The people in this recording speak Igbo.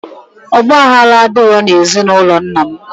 Ogbaghala adiro na ezi na ulo nnam.